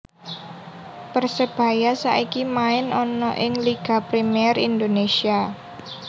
Persebaya saiki main ana ing Liga Premier Indonesia